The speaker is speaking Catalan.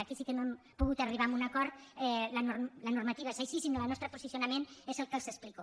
aquí sí que no hem pogut arribar a un acord la normativa és així i el nostre posicionament és el que els explico